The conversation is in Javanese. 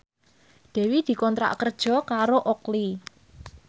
Dewi dikontrak kerja karo Oakley